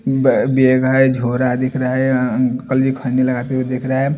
ब बेग है झोरा दिख रहा है अंकल जी खैनी लगाते हुए दिख रहा है।